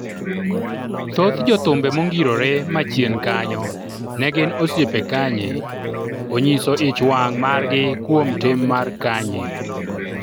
thoth jothumbe mongirore ma chien kanyo ne gin osiepe Kanye onyiso ich wang' margi kuom tim mar Kanye